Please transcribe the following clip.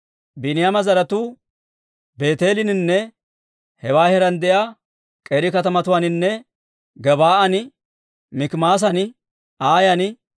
Biiniyaama zaratuu Beeteeleninne hewaa heeraan de'iyaa k'eeri katamatuwaaninne Gebaa'an, Mikimaasan, Aayan,